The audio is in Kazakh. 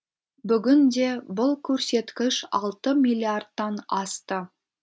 бүгінде бұл көрсеткіш алты миллиардтан асты